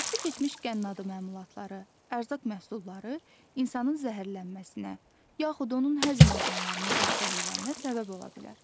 Vaxtı keçmiş qənnadı məmulatları, ərzaq məhsulları insanın zəhərlənməsinə, yaxud onun həzm orqanlarının xəstəliklərinə səbəb ola bilər.